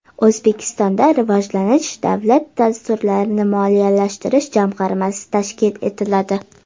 O‘zbekistonda Rivojlanish davlat dasturlarini moliyalashtirish jamg‘armasi tashkil etiladi.